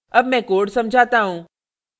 अब मैं code समझाता हूँ